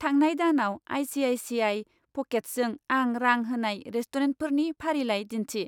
थांनाय दानाव आइ.सि.आइ.सि.आइ. प'केट्सजों आं रां होनाय रेस्टुरेन्टफोरनि फारिलाइ दिन्थि।